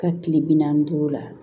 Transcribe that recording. Ka kile bi naani ni duuru la